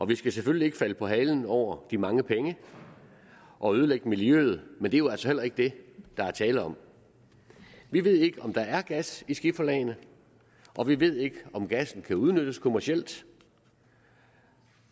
vi skal selvfølgelig ikke falde på halen over de mange penge og ødelægge miljøet men det er jo altså heller ikke det der er tale om vi ved ikke om der er gas i skiferlagene og vi ved ikke om gassen kan udnyttes kommercielt